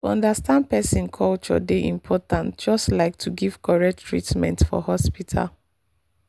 to understand person culture dey important just like to give correct treatment for hospital.